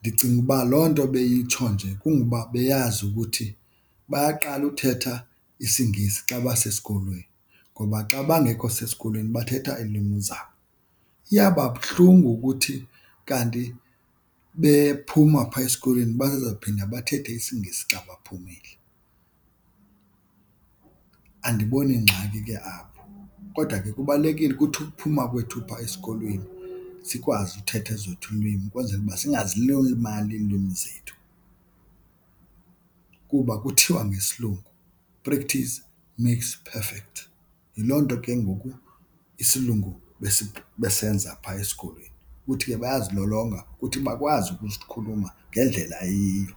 ndicinga uba loo nto beyitsho nje kungoba beyazi ukuthi bayaqala uthetha isiNgesi xa basesikolweni ngoba xa bangekho sesikolweni bathetha iilwimi zabo. Iyawuba buhlungu ukuthi kanti bephuma phaa esikolweni bazawuphinde bathethe isiNgesi xa baphumile. Andiboni ngxaki ke apho kodwa ke kubalulekile ukuthi ukuphuma kwethu phaa esikolweni sikwazi uthetha ezethu iilwimi ukwenzela uba singazilibali iilwimi zethu. Kuba kuthiwa ngesilungu practice makes perfect. Yiloo nto ke ngoku isilungu besenza phaa esikolweni kuthi ke bayazilolonga ukuthi bakwazi ukusikhuluma ngendlela eyiyo.